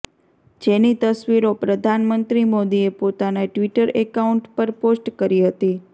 જેની તસવીરો પ્રધાનમંત્રી મોદીએ પોતાના ટ્વીટર એકાઉન્ટ પર પોસ્ટ કરી હતી